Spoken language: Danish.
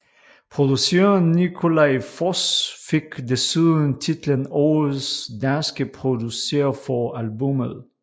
Produceren Nikolaj Foss fik desuden titlen Årets danske producer for albummet